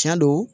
Tiɲɛ do